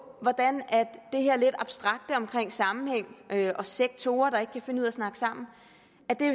hvordan det her lidt abstrakte omkring dårlig sammenhæng og sektorer der ikke kan finde ud af at snakke sammen